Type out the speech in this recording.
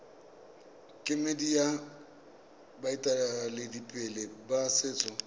kemedi ya baeteledipele ba setso